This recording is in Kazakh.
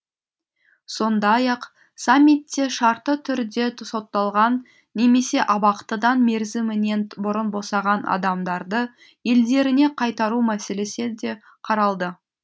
сондай ақ саммитте шартты түрде сотталған немесе абақтыдан мерзімінен бұрын босаған адамдарды елдеріне қайтару мәселесі де қаралды